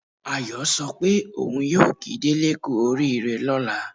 Ayọ̀ sọ pé òun yóò kí Délé kú oríire lọ́la